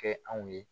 Kɛ anw ye